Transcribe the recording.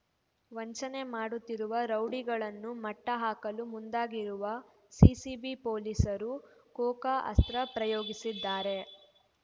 ವಂಚನೆ ಮಾಡುತ್ತಿರುವ ರೌಡಿಗಳನ್ನು ಮಟ್ಟಹಾಕಲು ಮುಂದಾಗಿರುವ ಸಿಸಿಬಿ ಪೊಲೀಸರು ಕೋಕಾ ಅಸ್ತ್ರ ಪ್ರಯೋಗಿಸಿದ್ದಾರೆ